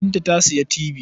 Binta ta sayi tibi.